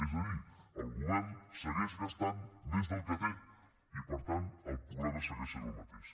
és a dir el govern segueix gastant més del que té i per tant el problema segueix sent el mateix